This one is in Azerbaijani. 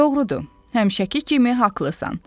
Doğrudur, həmişəki kimi haqlısan.